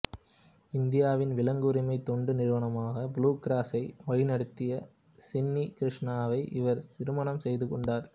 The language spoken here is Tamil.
இந்தியாவின் விலங்கு உரிமை தொண்டு நிறுவனமான புளூ கிராஸை வழிநடத்திய சின்னி கிருஷ்ணாவை இவர் திருமணம் செய்து கொண்டார்